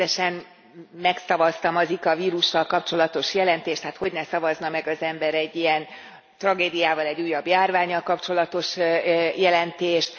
Természetesen megszavaztam a Zika vírussal kapcsolatos jelentést. Hát hogyne szavazna meg az ember egy ilyen tragédiával, egy újabb járvánnyal kapcsolatos jelentést.